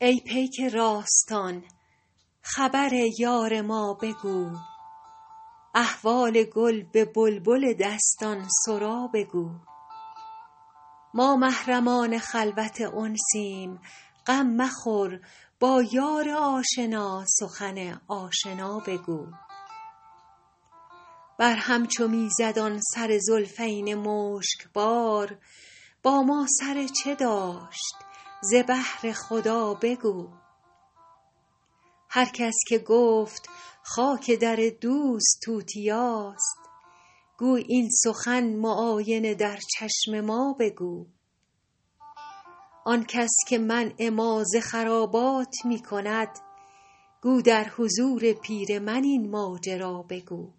ای پیک راستان خبر یار ما بگو احوال گل به بلبل دستان سرا بگو ما محرمان خلوت انسیم غم مخور با یار آشنا سخن آشنا بگو بر هم چو می زد آن سر زلفین مشک بار با ما سر چه داشت ز بهر خدا بگو هر کس که گفت خاک در دوست توتیاست گو این سخن معاینه در چشم ما بگو آن کس که منع ما ز خرابات می کند گو در حضور پیر من این ماجرا بگو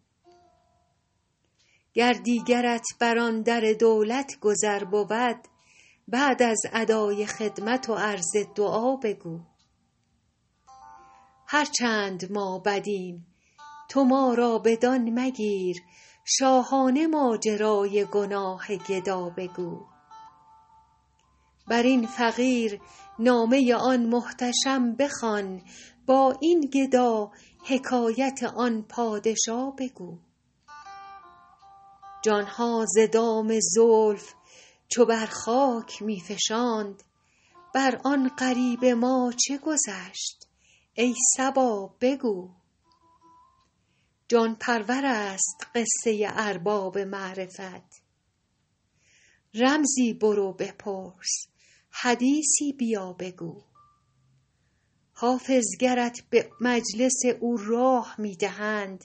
گر دیگرت بر آن در دولت گذر بود بعد از ادای خدمت و عرض دعا بگو هر چند ما بدیم تو ما را بدان مگیر شاهانه ماجرای گناه گدا بگو بر این فقیر نامه آن محتشم بخوان با این گدا حکایت آن پادشا بگو جان ها ز دام زلف چو بر خاک می فشاند بر آن غریب ما چه گذشت ای صبا بگو جان پرور است قصه ارباب معرفت رمزی برو بپرس حدیثی بیا بگو حافظ گرت به مجلس او راه می دهند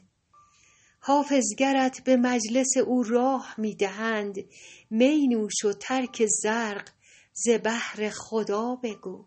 می نوش و ترک زرق ز بهر خدا بگو